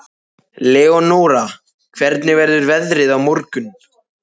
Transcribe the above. Leónóra, hvernig verður veðrið á morgun?